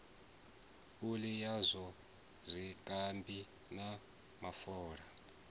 phuli yazwo zwikambi na mafola